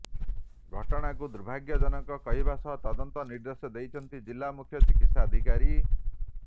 ଘଟଣାକୁ ଦୁର୍ଭାଗ୍ୟଜନକ କହିବା ସହ ତଦନ୍ତ ନିର୍ଦ୍ଦେଶ ଦେଇଛନ୍ତି ଜିଲ୍ଲା ମୁଖ୍ୟ ଚିକିତ୍ସାଧିକାରୀ